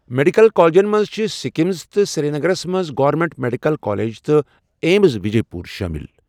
Medical کالجَن منٛز چھِ سکمز، تہٕ سرینگرَس منٛز گورنمنٹ میڈیکل کالج تہٕ ایمٕز وجے پوٗر شٲمِل۔